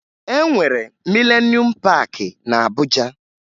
E nwere Milenuum Paakị na Abuja